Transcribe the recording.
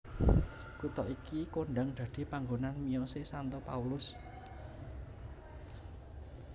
Kutha iki kondhang dadi panggonan miyosé Santo Paulus